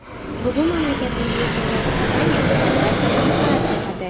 Bugun mamlakatimizga kirgan kompaniya, albatta, manfaat topadi.